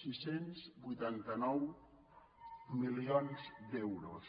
setze vuitanta nou milions d’euros